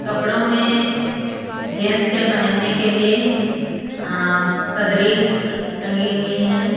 कपड़ों में जेंट्स के पहनने के लिए आ सदरी अ टंगी हुई है।